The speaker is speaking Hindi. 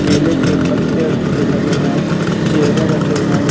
केले के पत्ते भी लगे हुए चेयरे रखे हुए--